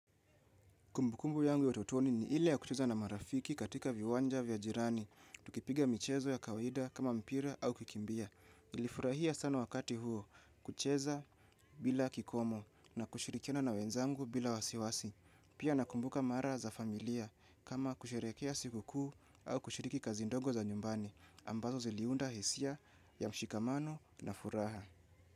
Kumbukumbu yangu ya utotoni ni ile ya kucheza na marafiki katika viwanja vya jirani. Tukipiga michezo ya kawaida kama mpira au kikimbia. Nilifurahia sana wakati huo kucheza bila kikomo na kushirikiana na wenzangu bila wasiwasi. Pia nakumbuka mara za familia kama kusherekea siku kuu au kushiriki kazi ndongo za nyumbani. Ambazo ziliunda hisia ya mshikamano na furaha.